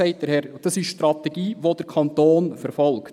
Es ist übrigens die Strategie, die der Kanton verfolgt.